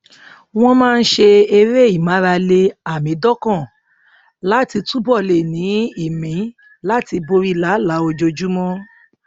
wọn máa ń ṣe eré ìmárale àmídọkàn láti túbọ lè ní ìmí láti borí làálàá ojoojúmọ